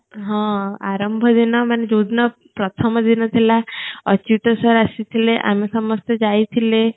ହଁ ଆରମ୍ଭ ଦିନ ମାନେ ଯୋଉ ଦିନ ପ୍ରଥମ ଦିନ ଥିଲା ଅଚ୍ୟୁତ sir ଆସିଥିଲେ ଆମେ ସମସ୍ତେ ଯାଇଥିଲେ